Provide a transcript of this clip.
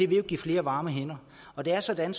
vil jo give flere varme hænder og det er sådan